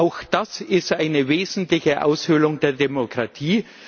Auch das ist eine wesentliche Aushöhlung der Demokratie.